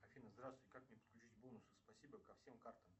афина здравствуй как мне подключить бонусы спасибо ко всем картам